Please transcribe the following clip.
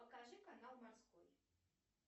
покажи канал морской